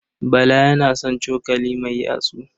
Bala yana son cokali mai yatsu.